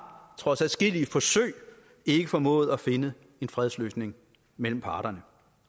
trods adskillige forsøg ikke formået at finde en fredsløsning mellem parterne